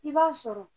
I b'a sɔrɔ